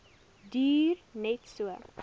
duur net so